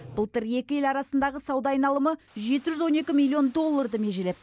былтыр екі ел арасындағы сауда айналымы жеті жүз он екі милллион долларды межелеп